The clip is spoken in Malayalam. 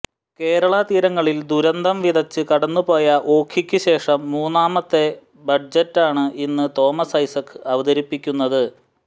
കേരള തീരങ്ങളിൽ ദുരന്തം വിതച്ച് കടന്നു പോയ ഓഖിക്ക് ശേഷം മൂന്നാമത്തെ ബജറ്റാണ് ഇന്നു തോമസ് ഐസക്ക് അവതരിപ്പിക്കുന്നത്